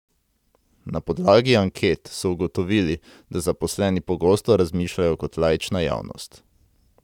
Na podlagi anket so ugotovili, da zaposleni pogosto razmišljajo kot laična javnost.